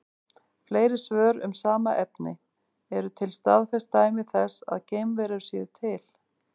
Fleiri svör um sama efni: Eru til staðfest dæmi þess að geimverur séu til?